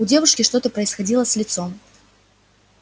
у девушки что-то происходило с лицом